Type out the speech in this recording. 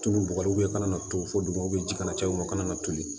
Tulu bɔgɔ i kana to fo duguma ji kana caya u ma ka na toli